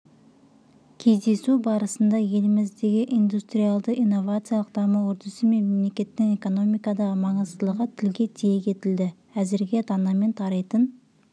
кездесу барысында еліміздегі индустриалды-инновациялық даму үрдісі мен мемлекеттің экономикадағы маңыздылығы тілге тиек етілді әзірге данамен тарайтын